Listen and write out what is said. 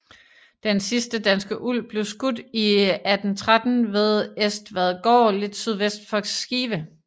Den sidste danske ulv blev skudt i 1813 ved Estvadgård lidt sydvest for Skive